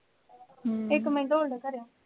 ਇਹ ਕਿਵੇਂ ਢੋਲ ਜਿਹਾ ਭਰਿਆ